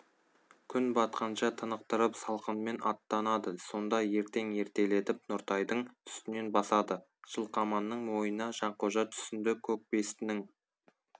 күн батқанша тынықтырып салқынмен аттанады сонда ертең ертелетіп нұртайдың үстінен басады жылқаманның ойына жанқожа түсінді көкбестінің